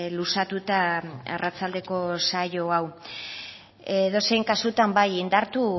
luzatuta arratsaldeko saio hau edozein kasutan bai indartu